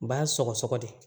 Ba sɔgɔsɔgɔ de